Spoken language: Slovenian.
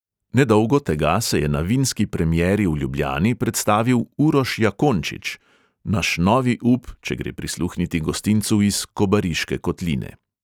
Nedolgo tega se je na vinski premieri v ljubljani predstavil uroš jakončič – naš novi up, če gre prisluhniti gostincu iz kobariške kotline.